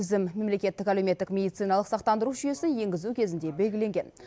тізім мемлекеттік әлеуметтік медициналық сақтандыру жүйесін енгізу кезінде белгіленген